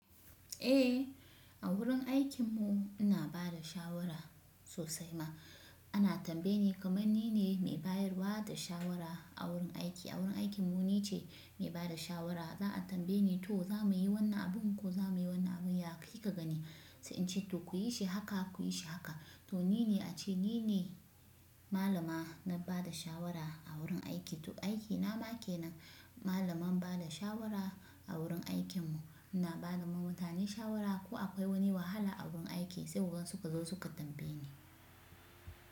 Eh, a wurin aikin mu ina ba da shawara sosai ma ana tambaye ni kamar nine mai bayarwa da shawara a wurin aiki. A wurin aikin mu ni ce mai ba da shawara za a tambaye ni to za muyi wannan abun ko zamuyi wannan abun ya kika gani? Sai in ce to kuyi shi haka, kuyi shi haka. To nine a ce nine malama na ba da shawara a wurin aiki. To aikina ma kenan malaman ba da shawara a wurin aikin mu. Ina bada ma mutane shawara ko akwai wani wahala a wurin aiki sai wurin suka zo suka tambaye ni.